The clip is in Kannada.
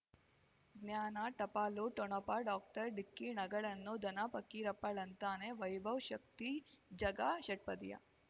ಜ್ಞಾನ ಟಪಾಲು ಠೊಣಪ ಡಾಕ್ಟರ್ ಢಿಕ್ಕಿ ಣಗಳನು ಧನ ಫಕೀರಪ್ಪ ಳಂತಾನೆ ವೈಭವ್ ಶಕ್ತಿ ಝಗಾ ಷಟ್ಪದಿಯ